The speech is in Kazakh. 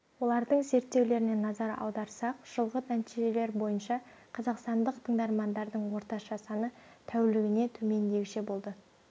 олардың зерттеулеріне назар аударсақ жылғы нәтижелер бойынша қазақстандық тыңдармандардың орташа саны тәулігіне төмендегіше болды